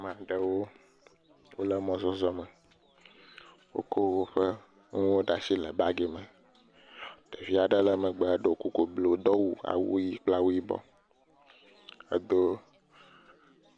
Ame aɖewo wo le mɔzɔzɔ me. Wokɔ woƒe nuwo ɖe asi le bagi me. Ɖevi aɖe le megbe ɖo kuku blu, do awu ʋi kple awu yibɔ, edo